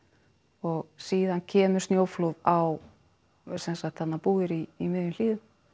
og síðan kemur snjóflóð á sem sagt þarna búðir í miðjum hlíðum